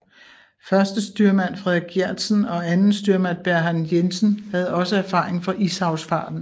Førstestyrmand Frederik Gjertsen og andenstyrmand Bernhard Jensen havde også erfaring fra ishavsfarten